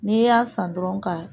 N'i y'a san dɔrɔn ka